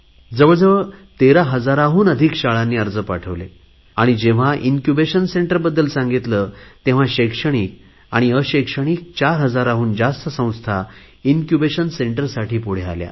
जवळजवळ 13 हजारहून अधिक शाळांनी अर्ज पाठवले आणि जेव्हा इन्क्युबेशन सेंटर बद्दल सांगितले तेव्हा शैक्षणिक अशैक्षणिक 4 हजाराहून जास्त संस्था इन्क्युबेशन सेंटर साठी पुढे आल्या